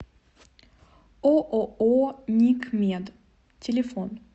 ооо никмед телефон